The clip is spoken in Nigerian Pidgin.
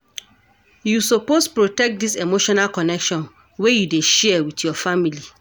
You suppose protect dis emotional connection wey you dey share wit your family.